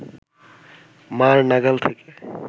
মা’র নাগাল থেকে